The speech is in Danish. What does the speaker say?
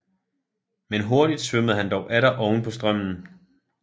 Men hurtig svømmede han dog atter oven på strømmen